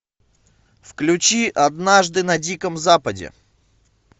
включи однажды на диком западе